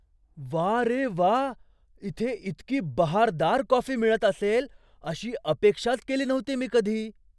वा रे वा! इथे इतकी बहारदार कॉफी मिळत असेल अशी अपेक्षाच केली नव्हती मी कधी.